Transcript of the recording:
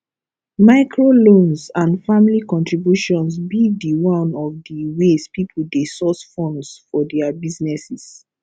microloans and family contributions be di one of di ways people dey source funds for dia businesses